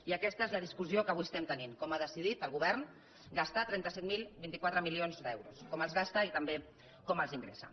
i aquesta és la discussió que avui tenim com ha decidit el govern gastar trenta set mil vint quatre milions d’euros com els gasta i també com els ingressa